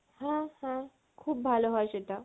হ্যাঁ হ্যাঁ খুব ভালো হয় সেটা।